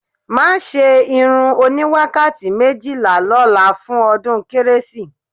Má ṣe irun oníwàkàtí méjìlá lọ́la fún ọdún kérésì